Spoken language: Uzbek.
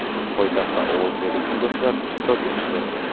poytaxtda ovoz beruvchi yoshlar ishtirok etishdi.